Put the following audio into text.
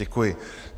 Děkuji.